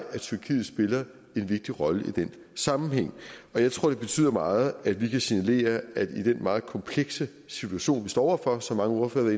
at tyrkiet spiller en vigtig rolle i den sammenhæng jeg tror det betyder meget at vi kan signalere at i den meget komplekse situation vi står over for som mange ordførere